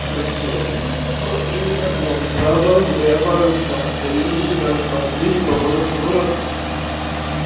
раз два три раз два три наклон вправо влево раз два три раз два три поворот поворот